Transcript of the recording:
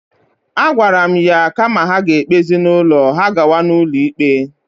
A gwara mụ ya na kama ha ga-egbezi n'ụlọ, ha agawa n'ụlọ ikpe.